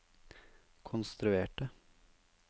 konstruerte